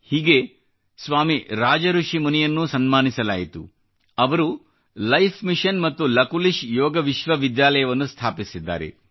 ಹೀಗೇ ಸ್ವಾಮಿ ರಾಜ ಋಷಿ ಮುನಿಯನ್ನೂ ಸನ್ಮಾನಿಸಲಾಯಿತು ಅವರು ಲೈಫ್ ಮಿಷನ್ ಮತ್ತು ಲಕುಲಿಶ್ ಯೋಗ ವಿಶ್ವವಿದ್ಯಾಲಯವನ್ನು ಸ್ಥಾಪಿಸಿದ್ದಾರೆ